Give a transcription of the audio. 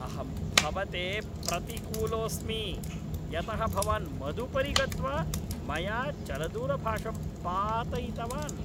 अहं भवते प्रतिकूलोऽस्मि, यतः भवान् मदुपरि गत्वा मया चलदूरभाषं पातयितवान्।